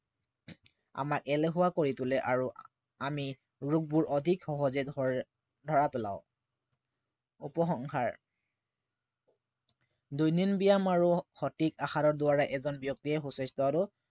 আমাক এলেহুৱা কৰি তোলে আৰু আমি ৰোগবোৰ অধিক সহজে ধৰা পেলাও উপসংহাৰ দৈনিক ব্য়ায়াম আৰু সঠিক আহাৰৰ দ্বাৰা এজন ব্য়ক্তিয়ে সু স্বাস্থ্য় আৰু